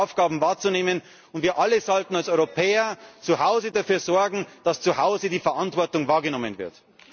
Jeder hat seine Aufgaben wahrzunehmen, und wir alle sollten als Europäer zuhause dafür sorgen, dass zuhause die Verantwortung wahrgenommen wird.